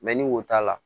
ni wo t'a la